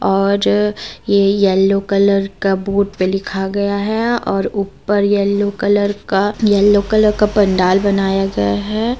और ये yellow colour का बोर्ड पे लिखा गया है और ऊपर येलो कलर का येलो कलर का पंडाल बनाया गया है।